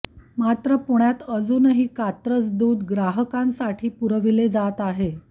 मात्र पुण्यात अजूनही कात्रज दूध ग्राहकांसाठी पुरविले जात आहे